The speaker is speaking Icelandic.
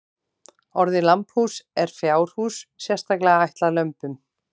Orðið lambhús er fjárhús sérstaklega ætlað lömbum.